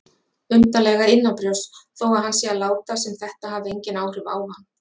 Undarlega innanbrjósts þó að hann sé að láta sem þetta hafi engin áhrif á hann.